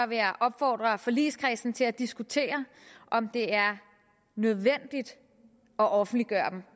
vil jeg opfordre forligskredsen til at diskutere om det er nødvendigt at offentliggøre dem